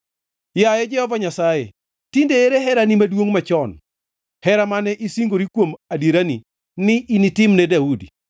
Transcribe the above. Yaye Jehova Nyasaye, tinde ere herani maduongʼ machon, hera mane isingori kuom adierani, ni initim ne Daudi?